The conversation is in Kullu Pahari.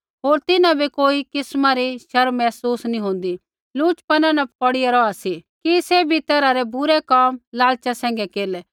होर तिन्हां बै कोई किस्मा री शर्म महसूस नैंई होंदी लुचपन न पौड़े रौहा सी कि सैभी तैरहा रै बुरै कोम लालचा सैंघै केरलै